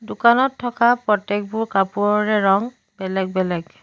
দোকানত থকা প্ৰত্যেকবোৰ কাপোৰৰ ৰং বেলেগ বেলেগ।